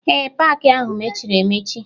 Ee, paakị ahụ mechiri emechi